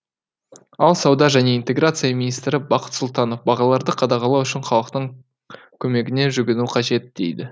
ал сауда және интеграция министрі бақыт сұлтанов бағаларды қадағалау үшін халықтың көмегіне жүгіну қажет дейді